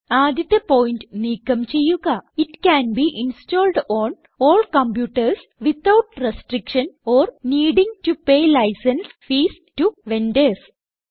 ആദ്യത്തെ പോയിന്റ് നീക്കം ചെയ്യുക it can be installed on all computers without restriction or needing to pay licence fees to vendors